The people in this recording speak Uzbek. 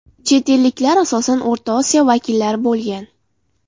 Chet elliklar asosan O‘rta Osiyo vakillari bo‘lgan.